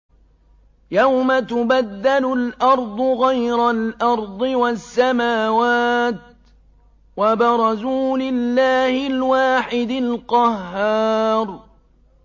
يَوْمَ تُبَدَّلُ الْأَرْضُ غَيْرَ الْأَرْضِ وَالسَّمَاوَاتُ ۖ وَبَرَزُوا لِلَّهِ الْوَاحِدِ الْقَهَّارِ